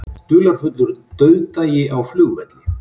Dularfullur dauðdagi á flugvelli